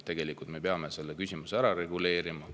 Tegelikult me peame selle küsimuse ära reguleerima.